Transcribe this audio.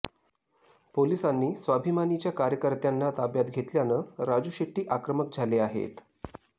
पोलिसांनी स्वाभिमानीच्या कार्यकर्त्यांना ताब्यात घेतल्यानं राजू शेट्टी आक्रमक झाले आहेत